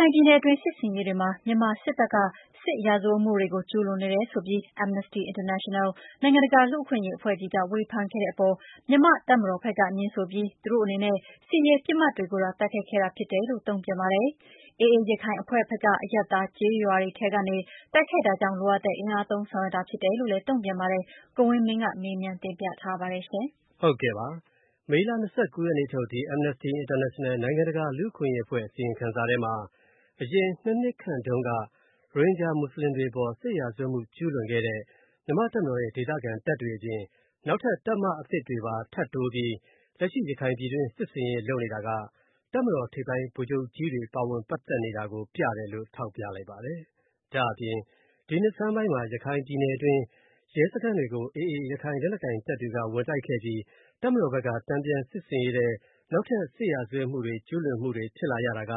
ခိုင်ပြည်နယ်တွင်း စစ်ဆင်ရေးတွေမှာ မြန်မာစစ်တပ်က စစ်ရာဇဝတ်မှုတွေကို ကျူးလွန်တယ်နေတယ်ဆိုပြီး Amnesty International နိုင်ငံတကာလူ့အခွင့်အရေးအဖွဲ့ကြီးက ဝေဖန်ခဲ့တဲ့အပေါ်၊ မြန်မာတပ်မတော်ဖက်က ငြင်းဆိုပြီး သူတို့အနေနဲ့ စစ်ရေးပစ်မှတ်တွေကိုသာ တိုက်ခိုက်ခဲ့တာဖြစ်တယ်လို့ တုန့်ပြန်ပါတယ်။ AA ရခိုင်အဖွဲ့ဖက်က အရပ်သားကျေးရွာတွေထဲကနေ တိုက်ခိုက်တာကြောင့် လိုအပ်တဲ့အင်အားသုံးဆောင်ရွက်တာဖြစ်တယ်လို့ တုန့်ပြန်ပါတယ်။ ကိုဝင်းမင်းက မေးမြန်းထားပါတယ်။ မေလ (၂၉) ရက်နေ့ထုတ် ဒီ Amnesty International နိုင်ငံတကာလူ့အခွင့်အရေးအဖွဲ့ အစီရင်ခံစာထဲမှာ အရင် (၂) နှစ်ခန့်တုန်းက ရိုဟင်ဂျာ မွတ်ဆလင်တွေအပေါ် စစ်ရာဇဝတ်မူကျုးလွန်ခဲ့တဲ့မြန်မာ့တပ်မတော်ရဲ့ ဒေသခံတပ်တွေအပြင်နောက်ထပ် တပ်မအသစ်တွေပါထပ်တိုးပြီးရခိုင်ပြည်တွင်း လက်ရှိ စစ်ဆင်ရေးလုပ်နေတာကတပ်မတော်ထိပ်ပိုင်း ဗိုလ်ချုပ်ကြီးတွေ ပါဝင်ပတ်သက်နေတာကို ပြတယ်လို့ ထောက်ပြလိုက်ပါတယ်။ ဒါ့အပြင် ဒီနှစ်ဆန်းပိုင်းမှာ ရခိုင်ပြည်နယ်တွင်း ရဲစခန်းတွေကို AA ရခိုင်လက်နက်ကိုင်တပ်တွေက ဝင်တိုက်ခဲ့ပြီး တပ်မတော်ဘက်က တန်ပြန်စစ်ဆင်ရေးထဲ နောက်ထပ် စစ်ရာဇဝတ်မှုတွေ ကျူးလွန်မှုတွေ ဖြစ်လာရတာက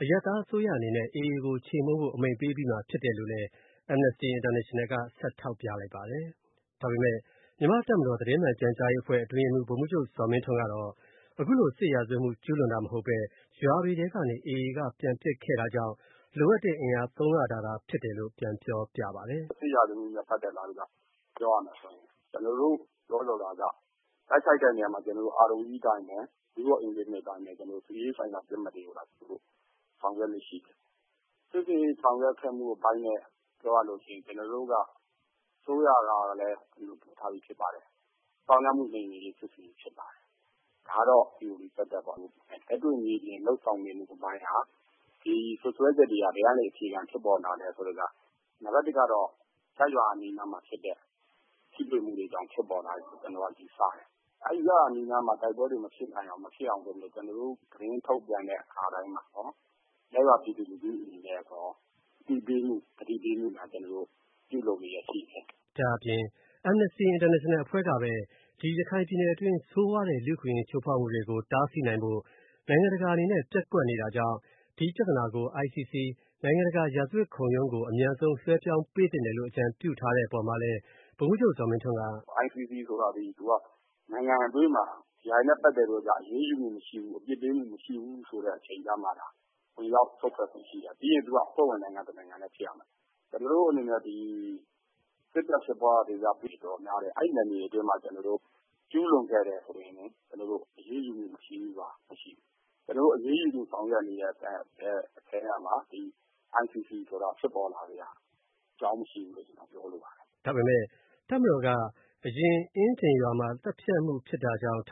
အရပ်သားအစိုးရအနေနဲ့ AA ကို ခြေမှုန်းဖို့ အမိန့်ပေးအပြီးမှာဖြစ်တယ်လို့လည်း Amnesty International က ဆက်ထောက်ပြလိုက်ပါတယ်။ ဒါပေမဲ့ မြန်မာ့တပ်မတော်သတင်းမှန်ပြန်ကြားရေးအဖွဲ့ အတွင်းရေးမှူး ဗိုလ်မှူးချုပ် ဇော်မင်းထွန်းကတော့ အခုလို စစ်ရာဇဝတ်မှု ကျူးလွန်တာမဟုတ်ပဲ ရွာတွေထဲကနေ AA က ပြန်ပစ်ခဲ့တာကြောင့် လိုအပ်တဲ့အင်အားသုံးရတာ ဖြစ်တယ်လို့ ပြန်ပြောပြပါတယ်။ “စစ်ရာဇဝတ်မှုနဲ့ ပတ်သက်လာရင် ပြောရမယ်ဆိုရင် ကျနော်တို့ ပြောလိုတာက တိုက်ခိုက်တဲ့နေရာမှာ ကျနော်တို့ Rule of engagement (ROE) အတိုင်းပဲ၊စစ်ရေးဆိုင်ရာပြစ်မှတ်တွေကိုသာ ဆောင်ရွက်လေ့ရှိတယ်။ စစ်ဆင်ရေးဆောင်ရွက်ခဲ့မှုအပိုင်းနဲ့ ပြောရရင်တော့ ကျနော်တို့က အစိုးရကလည်း ခွင့်ပြုထားပြီးသားဖြစ်ပါတယ်။ သောင်းကျန်းသူ နှိမ်နင်းရေး စစ်ဆင်ရေးဖြစ်ပါတယ်။ ဒါကတော့ Theory သပ်သပ်ပေါ့လေ။ လက်တွေ့မြေပြင်လုပ်ဆောင်မှုအပိုင်းက ဒီစွပ်စွဲချက်တွေက ဘယ်ကနေအခြေခံဖြစ်ပေါ်လာသလဲဆိုရင် နံပါတ်တစ်ကတော့ ကျေးရွာအနီးတွေမှာဖြစ်တဲ့ ထိတွေ့မှုတွေကြောင့်ဖြစ်ပေါ်လာတယ်လို့ ကျနော်ကတော့ ယူဆပါတယ်။ အဲဒီကျေးရွာအနီးမှာ တိုက်ပွဲတွေမဖြစ်လာအောင်ဆိုပြီးတော့ ကျနော်တို့ သတင်းထုတ်ပြန်တဲ့အခါတိုင်းမှာ ရပ်ရွာပြည်သူလူထုတွေကို အသိပေးမှု သတိပေးမှုတွေပြုလုပ်လျှက်ရှိတယ်။” ဒါ့အပြင် Amnesty International ကပဲ ဒီရခိုင်ပြည်နယ်အတွင်းဆိုးဝါးတဲ့ လူ့အခွင့်အရေးချိုးဖောက်မှုတွေကို တားဆီးနိုင်ဖို့ နိုင်ငံတကာအနေနဲ့ ပျက်ကွက်နေတာကြောင့် ဒီပြဿနာကို ICC နိုင်ငံတကာ ရာဇဝတ်ခုံရုံးကို အမြန်ဆုံးလွှဲပြောင်းပေးသင့်တယ်လို့ အကြံပြုထားတဲ့အပေါ်မှာလည်း ဗိုလ်မှူးချုပ် ဇော်မင်းထွန်းက “ICC ဆိုတာသည် နိုင်ငံအတွင်းမှာ ဒါတွေနဲ့ ပတ်သက်ပြီးတော့အရေးယူမှုမရှိဘူး အပြစ်ပေးမှုမရှိဘူး ဆိုမှသာ ဝင်ရောက်စွက်ဖက်ခွင့်ရှိတာ။ ပြီးတော့ သူက အဖွဲ့ဝင်နိုင်ငံတနိုင်ငံလည်းဖြစ်ရမယ်။ ကျနော်တို့အနေနဲ့ ဒီ စစ်ဖက်ပဋိပက္ခဖြစ်တဲ့နယ်မြေ အတော်များတယ်။ အဲဒီနယ်မြေအတွင်းမှာ ကျူးလွန်ခဲ့တယ်ဆိုရင် ကျနော်တို့ အရေးယူမူ မရှိဘူးဆိုတာ မရှိဘူး။ ကျနော်တို့ အရေးယူဆောင်ရွက်နေတဲ့အထဲကမှ ဒီ ICC ဆိုတာ ဖြစ်ပေါ်လာစရာအကြောင်းမရှိဘူးလို့ ပြောလိုပါတယ်။” ဒါပေမယ့် တပ်မတော်က အရင် အင်းဒင်ရွာမှာ သတ်ဖြတ်မှုဖြစ်တာကြောင့် ထ